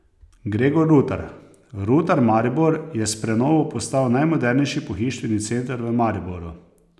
Gregor Rutar: "Rutar Maribor je s prenovo postal najmodernejši pohištveni center v Mariboru.